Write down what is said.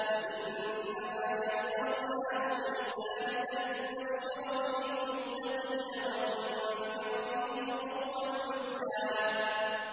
فَإِنَّمَا يَسَّرْنَاهُ بِلِسَانِكَ لِتُبَشِّرَ بِهِ الْمُتَّقِينَ وَتُنذِرَ بِهِ قَوْمًا لُّدًّا